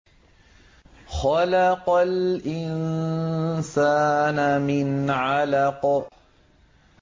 خَلَقَ الْإِنسَانَ مِنْ عَلَقٍ